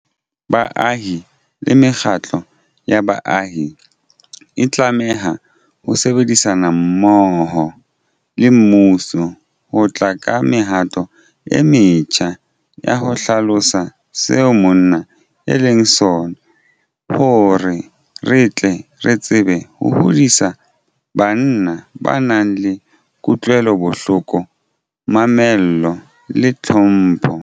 Baahi le mekgatlo ya baahi e tlameha ho sebedisana mmoho le mmuso ho tla ka mehato e metjha ya ho hlalosa seo monna e leng sona hore re tle re tsebe ho hodisa banna ba nang le kutlwelobohloko, mamello le tlhompho.